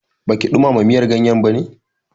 Baki ɗumama miyar ganyen bane?